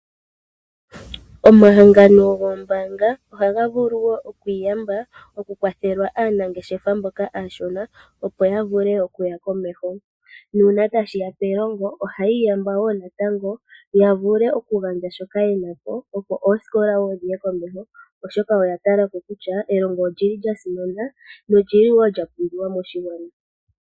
Omahangano gombaanga ohaga vulu okwiiyamba mokukwathela aanangeshefa aashona opo yavule okuya komeho. oha yi iyamba woo natango pomanongelo opo omanongelo Gaye komeho oshoka elongo olya simana no lili lyapumbiwa moshigwana